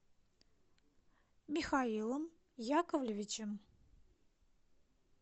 михаилом яковлевичем